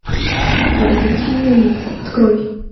подозрительные лица открой